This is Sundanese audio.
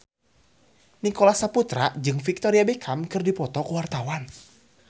Nicholas Saputra jeung Victoria Beckham keur dipoto ku wartawan